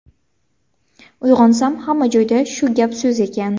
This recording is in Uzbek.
Uyg‘onsam hamma joyda shu gap-so‘z ekan.